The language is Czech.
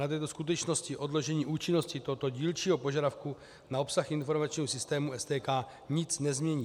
Na této skutečnosti odložení účinnosti tohoto dílčího požadavku na obsah informačního systému STK nic nezmění.